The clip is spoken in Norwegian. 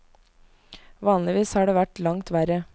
Vanligvis har det vært langt verre.